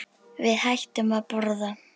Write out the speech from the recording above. Við hættum að borða.